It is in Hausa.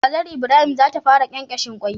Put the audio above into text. Kazar Ibrahim zata fara kyenkyeshe kwai